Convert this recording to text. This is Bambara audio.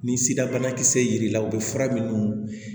Ni sira banakisɛ yer'i la o bɛ fura minnu